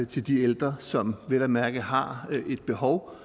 til de ældre som vel at mærke har et behov